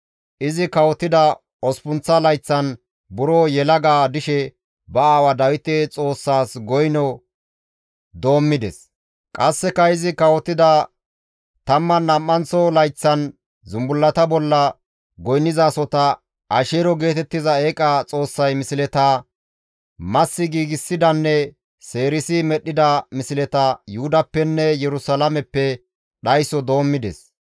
Izi kawotida osppunththa layththan buro yelaga dishe ba aawa Dawite Xoossaas goyno doommides; qasseka izi kawotida tamman nam7anththo layththan zumbullata bolla goynnizasota, Asheero geetettiza eeqa xoossay misleta, massi giigsidanne seerisi medhdhida misleta Yuhudappenne Yerusalaameppe dhayso doommides.